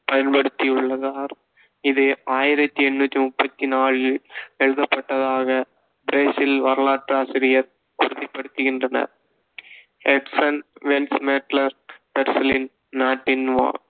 பயன்படுத்தியுள்ளார். இது ஆயிரத்தி எண்ணூத்தி முப்பத்து நாலில் எழுதப்பட்டதாக பிரேசில் வரலாற்றாசிரியர் உறுதிப்படுத்துகின்றனர். நாட்டின் வானி~